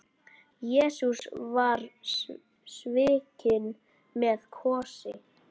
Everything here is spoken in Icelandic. Jesús var svikinn með kossi.